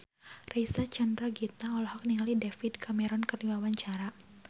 Reysa Chandragitta olohok ningali David Cameron keur diwawancara